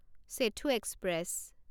Setu express